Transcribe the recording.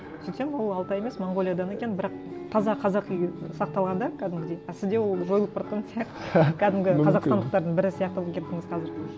сөйтсем ол алтай емес монғолиядан екен бірақ таза қазақи сақталған да кәдімгідей а сізде ол жойылып бара жатқан сияқты кәдімгі қазақстандықтардың бірі сияқты болып кеттіңіз қазір